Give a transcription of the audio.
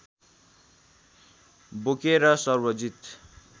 बोकेर सर्वजित